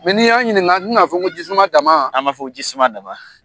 N'i y'an ɲininka an tina a fɔ ko jisuma dama an b'a fƆ ko jisuma dama.